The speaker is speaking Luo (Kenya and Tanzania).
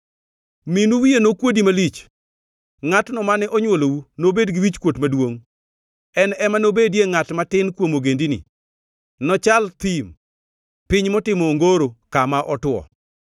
minu wiye nokuodi malich; ngʼatno mane onywolou nobed gi wichkuot maduongʼ. En ema nobedie ngʼat matin kuom ogendini, nochal thim, piny motimo ongoro, kama otwo.